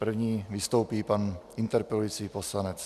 První vystoupí pan interpelující poslanec.